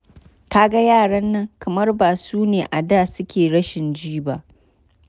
Ka ga yaran nan kamar ba su ne a da suke rashin ji ba.